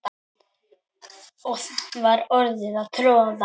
og var að troða strý